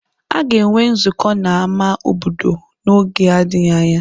A ga-enwe nzukọ na ama obodo n'oge na-adịghị anya.